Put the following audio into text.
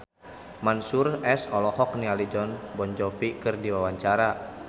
Mansyur S olohok ningali Jon Bon Jovi keur diwawancara